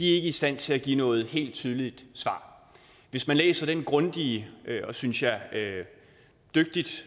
ikke i stand til at give noget helt tydeligt svar hvis man læser den grundige og synes jeg dygtigt